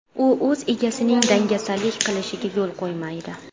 U o‘z egasining dangasalik qilishiga yo‘l qo‘ymaydi.